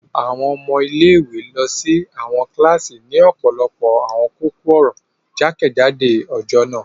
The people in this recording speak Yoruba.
Àwọn ọmọ ile-iwe lọ si àwọn kilasi ni ọpọlọpọ awọn kókó-ọ̀rọ̀ jakejado ọjọ naa.